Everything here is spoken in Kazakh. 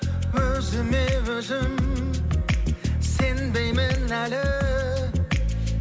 өзіме өзім сенбеймін әлі